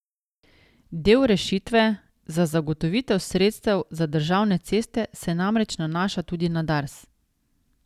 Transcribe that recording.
Del rešitve za zagotovitev sredstev za državne ceste se namreč nanaša tudi na Dars.